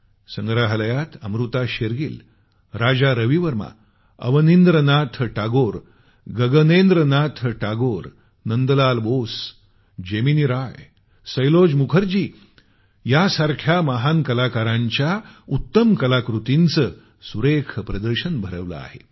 संग्रहालयात अमृता शेरगिल राजा रविवर्मा अवनिन्द्र नाथ टागोर गगनेन्द्र नाथ टागोर नंदलाल बोस जेमिनी राय सैलोज मुखर्जी यांसारख्या महान कलाकारांच्या उत्तम कलाकृतींचं सुरेख प्रदर्शन भरवलं आहे